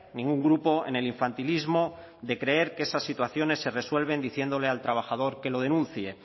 ningún grupo en el infantilismo de creer que esas situaciones se resuelven diciéndole al trabajador que lo denuncie